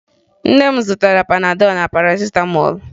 Nne m zụtara Panadọ na Parasịtamọọlụ